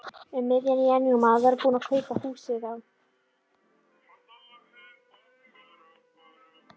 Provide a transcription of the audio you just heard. Um miðjan janúarmánuð var hann búinn að kaupa húsið á